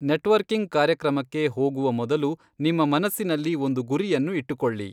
Networking ಕಾರ್ಯಕ್ರಮಕ್ಕೆ ಹೋಗುವ ಮೊದಲು ನಿಮ್ಮ ಮನಸ್ಸಿನಲ್ಲಿ ಒಂದು ಗುರಿಯನ್ನು ಇಟ್ಟುಕೊಳ್ಳಿ.